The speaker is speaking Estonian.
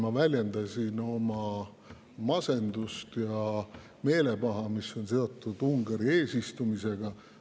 Ma väljendasin oma masendust ja meelepaha, mis on seotud Ungari eesistumisega.